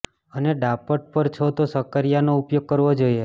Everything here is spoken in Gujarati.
અને ડાયટ પર છો તો સકકરીયાનો ઉપયોગ કરવો જોઇએ